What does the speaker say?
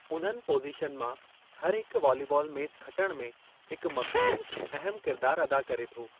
उन्हनि पोज़ीशन मां हर हिकु वॉलीबाल मैच खटणु में हिक मख़सूसु, अहमु किरिदारु अदा करे थो।